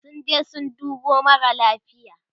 sun je sun dubo mara lafia